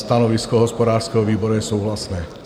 Stanovisko hospodářského výboru je souhlasné.